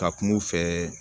Ka kum'u fɛ